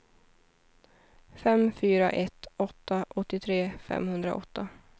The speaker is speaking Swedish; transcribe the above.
fem fyra ett åtta åttiotre femhundraåtta